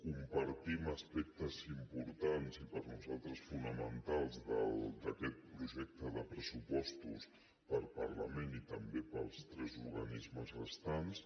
compartim aspectes importants i per nosaltres fonamentals d’aquest projecte de pressupostos per al parlament i també per als tres organismes restants